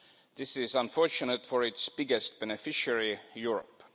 This is unfortunate for its biggest beneficiary, Europe.